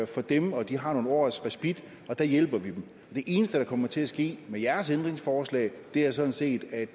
for dem og de har nogle års respit og der hjælper vi dem det eneste der kommer til at ske med jeres ændringsforslag er sådan set at